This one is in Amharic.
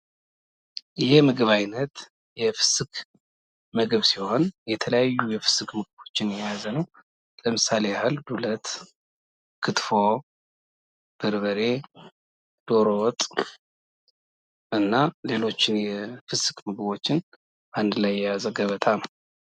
ይህ የምግብ አይነት የፍስክ ምግብ ሲሆን የተለያዩ የፍስክ ምግቦችን የያዘ ነው ፤ ለምሳሌ ፦ ዱለት፣ ክትፎ፣ በርበሬ፣ ዶሮ ወጥ እና የተለያዩ ምግቦችን አንድ ላይ የያዘ ገበታ ነው።